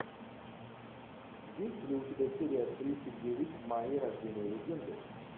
есть ли у тебя серия тридцать девять майя рождение легенды